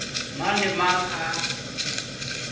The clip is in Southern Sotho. mang le a mang a